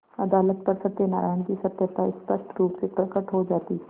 अदालत पर सत्यनारायण की सत्यता स्पष्ट रुप से प्रकट हो जाती